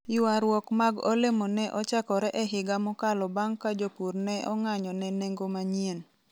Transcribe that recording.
ywarruok mag olemo ne ochakore e higa mokalo bang' ka jopur ne ong'anyo ne nengomanyien